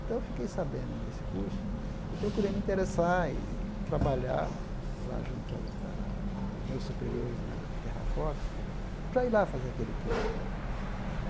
Então, eu fiquei sabendo desse curso e procurei me interessar e trabalhar lá junto aos ah aos meus superiores na Terrafoto, para ir lá fazer aquele curso né.